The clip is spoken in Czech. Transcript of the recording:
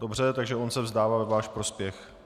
Dobře, tak on se vzdává ve váš prospěch.